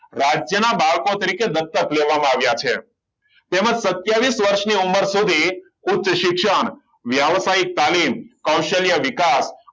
રાજ્યના બાળકો તરીકે દત્તક લેવામાં આવ્યા છે તેમ જ સત્યવિસ વર્ષની ઉંમરે સુધી ઉચ્ચ શિક્ષણ વ્યવસાયિક તાલીમ કૌશલ્ય વિકાસ